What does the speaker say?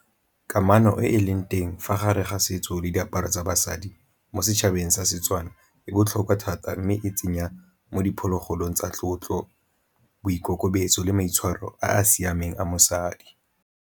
Kamano e e leng teng fa gare ga setso le diaparo tsa basadi mo setšhabeng sa Setswana e botlhokwa thata, mme e tsenya mo diphologolong tsa tlotlo, boikokobetso, le maitshwaro a a siameng a mosadi.